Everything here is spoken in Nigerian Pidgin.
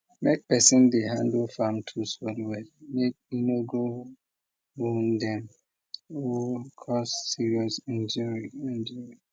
make person dey handle farm tools wellwell make e no go wound dem or cause serious injury injury